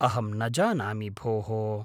अहं न जानामि, भोः।